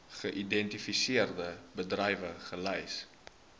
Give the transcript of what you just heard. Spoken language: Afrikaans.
geïdentifiseerde bedrywe gelys